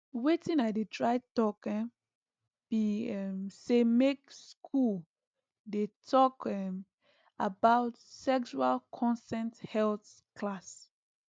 watin i dey try talk um be um say make school dey talk um about sexual consent health class